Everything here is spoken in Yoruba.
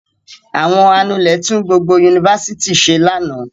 Àwọn anulẹ̀ tún vblgbo yunifásitì ṣe lánàá.